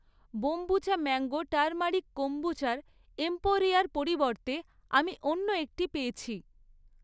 Kombucha mango turmeric কম্বুচার এম্পোরিয়ার পরিবর্তে আমি অন্য একটি পেয়েছি।